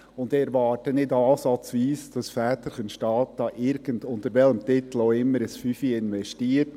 Ich erwarte nicht ansatzweise, dass Väterchen Staat – unter welchem Titel auch immer – irgendeinen Fünfer investiert.